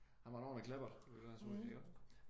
Han var en ordentligt kleppert ville jeg tro